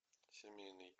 семейный